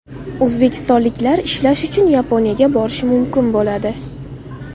O‘zbekistonliklar ishlash uchun Yaponiyaga borishi mumkin bo‘ladi.